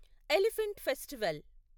elephant festival